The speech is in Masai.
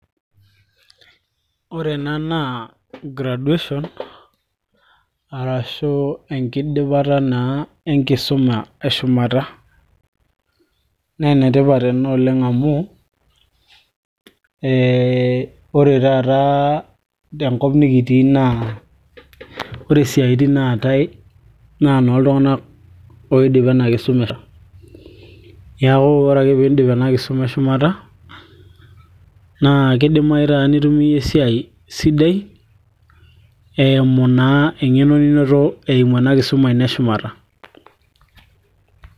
ore ena naa graduation arashu enkidipata naa enkisuma eshumata naa enetipat ena oleng amu ee ore taata tenkop nikitii naa ore isiatin naatay naa noltung'anak oidipa ena kisuma, niaku ore ake piindip ena kisuma eshumata naa kidimayu taata nitum iyie esiai sidai eimu naa eng'eno ninoto eimu ena kisuma ino eshumata.